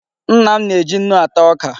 Nna m na-eji nnu ata oka.